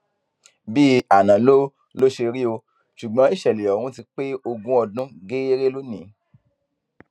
bíi àná ló ló ṣe rí o ṣùgbọn ìṣẹlẹ ọhún ti pé ogún ọdún gééré lónìín